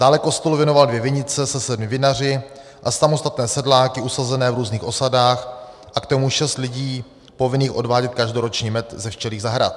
Dále kostelu věnoval dvě vinice se sedmi vinaři a samostatné sedláky usazené v různých osadách a k tomu šest lidí povinných odvádět každoročně med ze včelích zahrad.